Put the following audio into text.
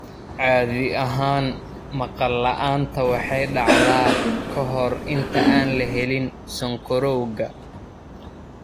Caadi ahaan, maqal la'aanta waxay dhacdaa ka hor inta aan la helin sonkorowga.